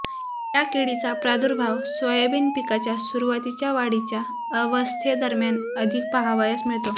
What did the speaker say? या किडीचा प्रादुर्भाव सोयाबीन पिकाच्या सुरुवातीच्या वाढीच्या अवस्थेदरम्यान अधिक पाहावयास मिळतो